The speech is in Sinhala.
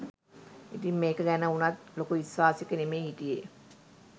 ඉතින් මේක ගැන උනත් ලොකු විශ්වාසෙක නෙමෙයි හිටියෙ